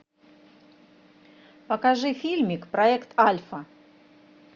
покажи фильмик проект альфа